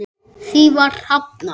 Því var hafnað.